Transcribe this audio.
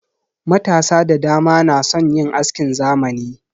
Matasa da dama na son yin askin zamani.